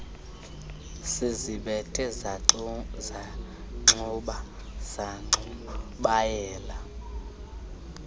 sizibethe zanxuba zaxubayela